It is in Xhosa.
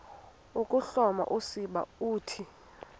ukuhloma usiba uthi